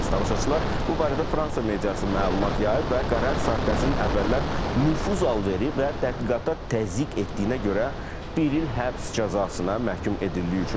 Əziz tamaşaçılar, bu barədə Fransa mediası məlumat yayıb və qərar Sarkozinin əvvəllər nüfuz alveri və təhqiqata təzyiq etdiyinə görə bir il həbs cəzasına məhkum edildiyi üçün verilib.